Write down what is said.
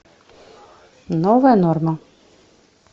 новая норма